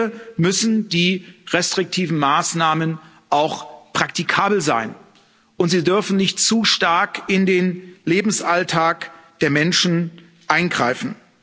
Am Ende müssen die restriktiven Maßnahmen auch praktikabel sein, und sie dürfen nicht zu stark in den Lebensalltag der Menschen eingreifen.